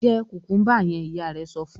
"Jẹ kùkúḿbà yẹn!" Ìyá rẹ̀ sọ fún un.